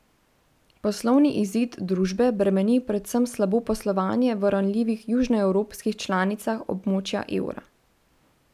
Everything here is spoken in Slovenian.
Poslovni izid družbe bremeni predvsem slabo poslovanje v ranljivih južnoevropskih članicah območja evra.